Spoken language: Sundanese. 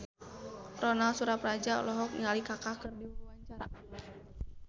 Ronal Surapradja olohok ningali Kaka keur diwawancara